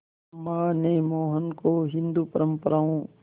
मां ने मोहन को हिंदू परंपराओं